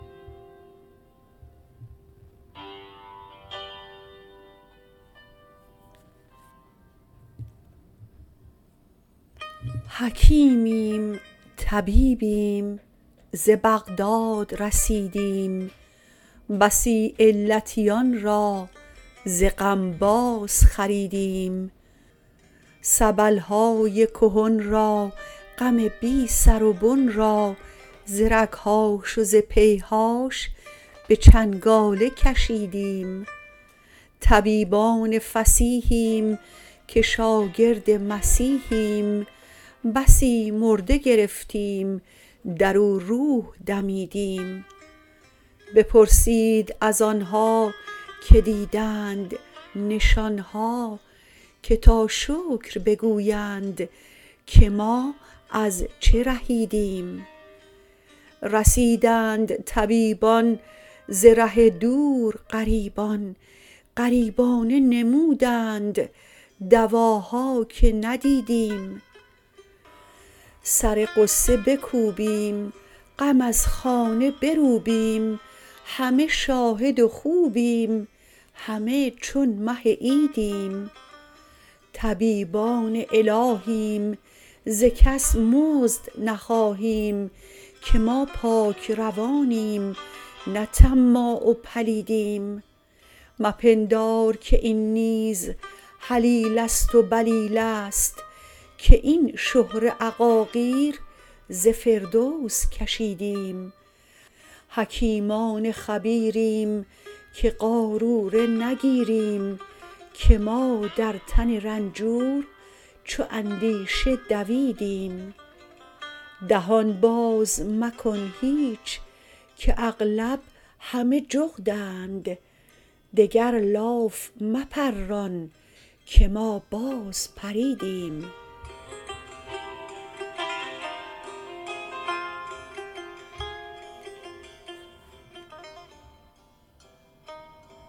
حکیمیم طبیبیم ز بغداد رسیدیم بسی علتیان را ز غم بازخریدیم سبل های کهن را غم بی سر و بن را ز رگ هاش و ز پی هاش به چنگاله کشیدیم طبیبان فصیحیم که شاگرد مسیحیم بسی مرده گرفتیم در او روح دمیدیم بپرسید از آن ها که دیدند نشان ها که تا شکر بگویند که ما از چه رهیدیم رسیدند طبیبان ز ره دور غریبان غریبانه نمودند دواها که ندیدیم سر غصه بکوبیم غم از خانه بروبیم همه شاهد و خوبیم همه چون مه عیدیم طبیبان الهیم ز کس مزد نخواهیم که ما پاک روانیم نه طماع و پلیدیم مپندار که این نیز هلیله ست و بلیله ست که این شهره عقاقیر ز فردوس کشیدیم حکیمان خبیریم که قاروره نگیریم که ما در تن رنجور چو اندیشه دویدیم دهان باز مکن هیچ که اغلب همه جغدند دگر لاف مپران که ما بازپریدیم